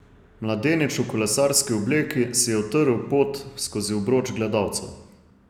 Mladenič v kolesarski obleki si je utrl pot skozi obroč gledalcev.